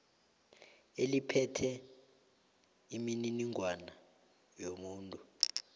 eliphethe imininingwana yomuntu